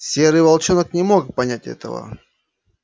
серый волчонок не мог понять этого